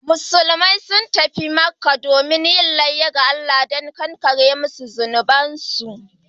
Musulmai sun tafi Makkah domin yin layya ga Allah da kankare musu zunubansu